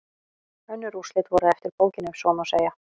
Önnur úrslit voru eftir bókinni ef svo má segja.